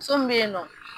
Muso min bɛ yen nɔ